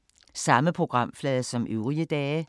Samme programflade som øvrige dage